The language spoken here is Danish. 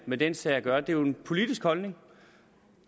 med den sag at gøre det er en politisk holdning